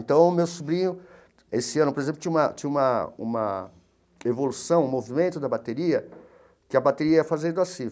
Então, o meu sobrinho, esse ano, por exemplo, tinha uma tinha uma uma evolução, um movimento da bateria, que a bateria ia fazendo assim.